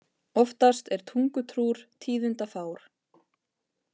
Oftast er tungutrúr tíðindafár.